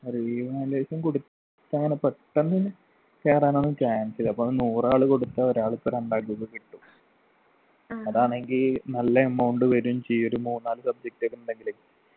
revaluation കൊട്ത്താണ് പെട്ടന്നന്നെ കേറാനൊന്നും chance ഇല്ല അപ്പൊ നൂറ് ആള് കൊടുത്താ ഒരാൾക്കൊ രണ്ടാൾക്കൊക്കെ കിട്ടും അതാണെങ്കി നല്ല amount വെരും ചെയ്യും ഒരു മൂന്നാല് subject ഒക്കെ ഉണ്ടെങ്കിലേ